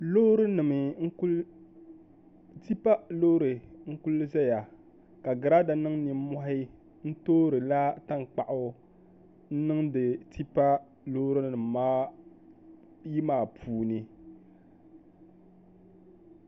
Tipa loori n kuli ʒɛya ka girada niŋ nimmohi n toorila tankpaɣu n niŋdi tipa loori nim ayi maa puuni